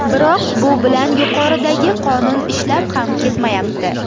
Biroq bu bilan yuqoridagi qonun ishlab ham ketmayapti.